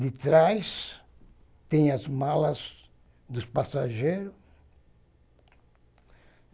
De trás tem as malas dos passageiros.